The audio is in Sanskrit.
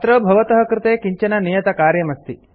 अत्र भवतः कृते किञ्चन नियतकार्यमस्ति